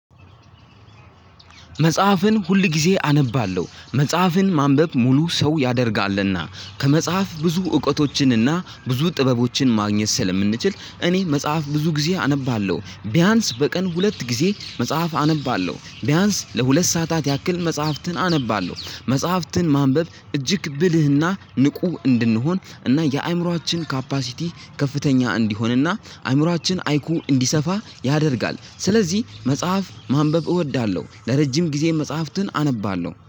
መጽሐፍን ሁል ጊዜ አነባለሁ መጽሐፍን ማንበብ ሙሉ ሰው ያደርጋልና ከመፅሐፍ ብዙ እዉቀቶችንና ብዙ ጥበቦችን ማግኘት ስለምንችል። እኔ መጽሐፍ ብዙ ጊዜ አነባለው ብያንስ በቀን ሁለት ጊዜ መጽሐፍ አነባለው ቢያንስ ለሁለት ሰዓታት ያክል መፅሐፍትን አነባለው። መፅሐፍትን ማንበብ እጅግ ብልህ እና ንቁ እንድንሆን እና የአእምሮአችን ካፓሲቲ ከፍተኛ እንዲሆን እና አእምሮአችን አይክው እንዲሰፋ ያደርጋል። ስለዚህ መጽሐፍ ማንበብ እወዳለሁ። ለረጅም ጊዜ መጽሐፍትን አነባለሁ